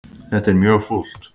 Þetta er mjög fúlt.